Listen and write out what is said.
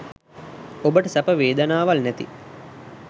ඔබට සැප වේදනාවල් නැති